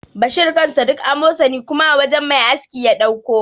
Bashir kansa duk amosani kuma a wajan mai aski ya ɗauko.